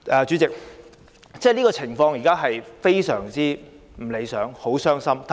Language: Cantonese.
主席，現時的情況非常不理想，令人很傷心。